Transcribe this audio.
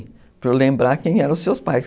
Para eu lembrar quem eram os seus pais.